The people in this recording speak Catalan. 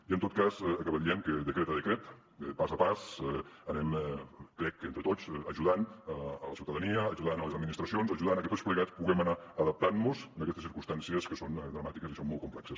i en tot cas acabar dient que decret a decret pas a pas anem crec entre tots ajudant la ciutadania ajudant les administracions ajudant a que tots plegats puguem anar adaptant mos a aquestes circumstàncies que són dramàtiques i són molt complexes